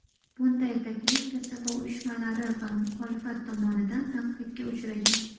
Bunday taklif kasaba uyushmalari va muxolifat tomonidan tanqidga uchragan.